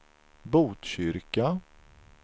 Botkyrka